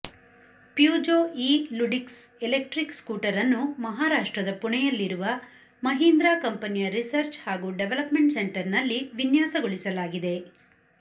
Peugeot e Ludix electric scooter ಅನ್ನು ಮಹಾರಾಷ್ಟ್ರದ ಪುಣೆಯಲ್ಲಿರುವ ಮಹೀಂದ್ರಾ ಕಂಪನಿಯ ರಿಸರ್ಚ್ ಹಾಗೂ ಡೆವಲಪ್ಮೆಂಟ್ ಸೆಂಟರ್ನಲ್ಲಿ ವಿನ್ಯಾಸಗೊಳಿಸಲಾಗಿದೆ